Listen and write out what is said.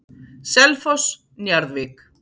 Selfoss- Njarðvík